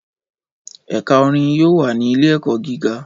Ẹka orin yoo wa ni Ile-ẹkọ giga